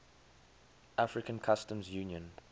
african customs union